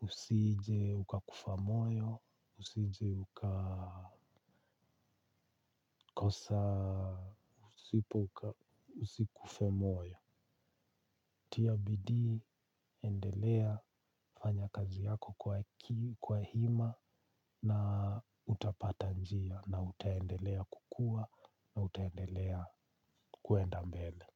Usije ukakufa moyo, usije ukakosa, usikufe moyo. Tia bidii, endelea fanya kazi yako kwa hima na utapata njia na utaendelea kukua na utaendelea kuenda mbele.